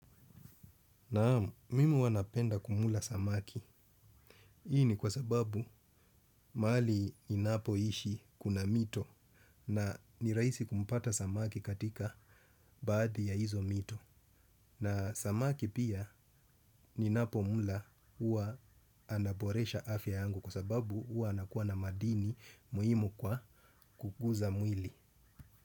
Naam, mimi huwanapenda kumla samaki. Hii ni kwa sababu mahali ninapoishi kuna mito na nirahisi kumpata samaki katika baadhi ya hizo mito. Na samaki pia ni napomla uwa anaboresha afya yangu kwa sababu huwa anakuwa na madini muhimu kwa kukuza mwili.